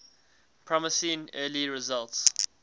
promising early results